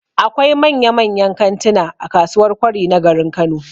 Akwai manyan-manyan kantina a kasuwar Kwari na garin Kano